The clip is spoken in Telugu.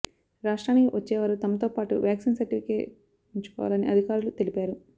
రాష్ట్రానికి వచ్చేవారు తమతో పాటు వ్యాక్సిన్ సర్టిఫికెట్ ఉంచుకోవాలని అధికారులు తెలిపారు